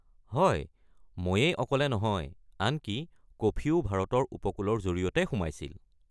হয়, ময়েই অকলে নহয়, আনকি কফিও ভাৰতত উপকূলৰ জৰিয়তে সোমাইছিল।